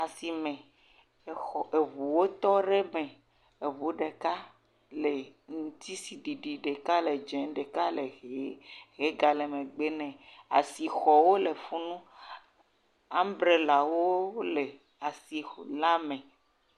Asime, exɔ eŋuwo wotɔ ɖe me, eŋun ɖeka le ŋutitsiɖiɖi, ɖeka le dze, ɖeka le ʋe, ʋe gale megbe nɛ, asixɔwo le fi nu, ambrelawo le asi xɔ la me.